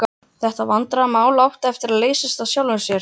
Þetta vandræðamál átti eftir að leysast af sjálfu sér.